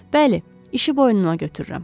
Bəli, işi boynuna götürürəm.